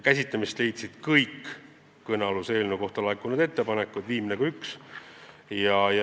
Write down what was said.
Käsitlemist leidsid kõik kõnealuse eelnõu kohta laekunud ettepanekud – viimne kui üks.